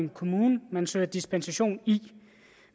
kommune man søger dispensation i